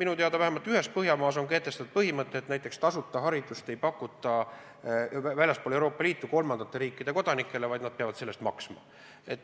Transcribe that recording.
minu teada vähemalt ühel Põhjamaadest on kehtestatud põhimõte, et tasuta haridust ei pakuta kolmandate riikide kodanikele, nad peavad hariduse eest maksma.